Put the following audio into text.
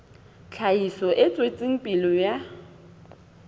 tlhahiso e tswetseng pele ya